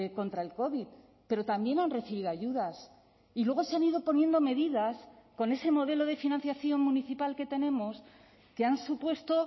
contra el covid pero también han recibido ayudas y luego se han ido poniendo medidas con ese modelo de financiación municipal que tenemos que han supuesto